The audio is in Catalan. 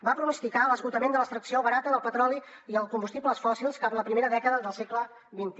va pronosticar l’esgotament de l’extracció barata del petroli i els combustibles fòssils cap a la primera dècada del segle xxi